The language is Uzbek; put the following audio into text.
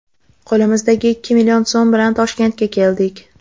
Qo‘limizdagi ikki million so‘m bilan Toshkentga keldik.